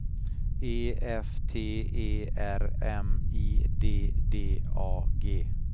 E F T E R M I D D A G